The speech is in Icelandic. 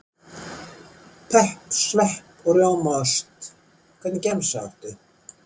Pepp, svepp og rjómaost Hvernig gemsa áttu?